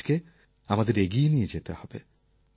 এই কাজকে আমাদের এগিয়ে নিয়ে যেতে হবে